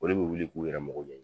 Olu bɛ wuli k'u yɛrɛ magɔ ɲɛ!